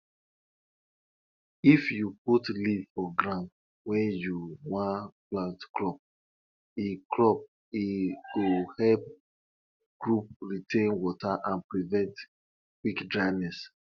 our animal tradition require say make we put white chalk for white chalk for animal body before the sacrifice go start.